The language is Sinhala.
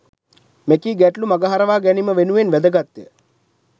මෙකී ගැටලු මගහරවා ගැනීම වෙනුවෙන් වැදගත්ය